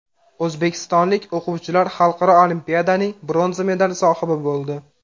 O‘zbekistonlik o‘quvchilar xalqaro olimpiadaning bronza medali sohibi bo‘ldi.